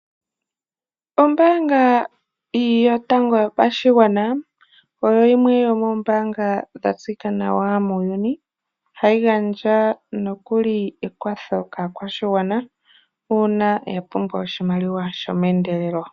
Ombaanga yotango yopashigwana oyo yimwe yomoombanga dhatseyika nawa muuyuni. Ohayi gandja ekwatho kaakwashigwana uuna yapumbwa oshimaliwa shomeendelelo.